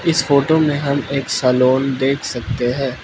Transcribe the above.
इस फोटो मे हम एक सलून देख सकते हैं।